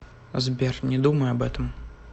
сбер не думай об этом